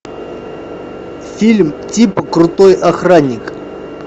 фильм типа крутой охранник